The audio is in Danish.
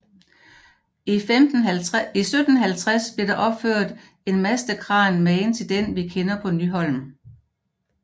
I 1750 blev der opført en mastekran magen til den vi kender på Nyholm